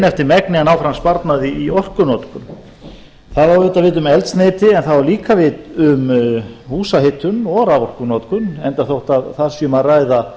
eftir megni að ná fram sparnaði í orkunotkun það á auðvitað við um eldsneyti en það á líka við um húshitun og raforkunotkun enda þótt þar sé um að ræða